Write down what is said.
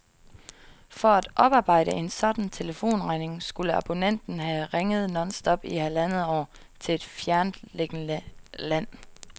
For at oparbejde en sådan telefonregning skulle abonnenten have ringet nonstop i halvandet år til et fjerntliggende land.